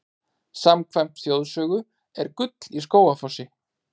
Samkvæmt þjóðsögu er gull í Skógafossi.